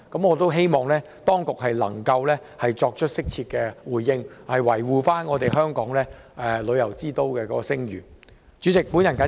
我希望當局稍後能作適切回應，維護香港作為旅遊之都的聲譽。